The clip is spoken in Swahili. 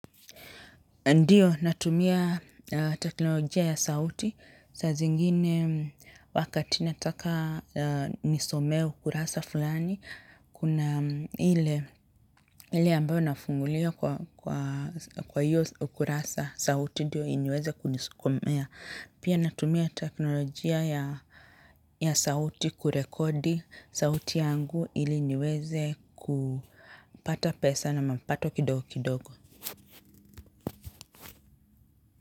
Ndio, natumia teknolojia ya sauti, saa zingine wakati nataka nisome ukurasa fulani, kuna ile ambayo nafungulia kwa hiyo ukurasa sauti ndio iniweze kunisokomea. Pia natumia teknolojia ya sauti kurekodi sauti yangu ili iniweze kupata pesa na mapato kidogo kidogo.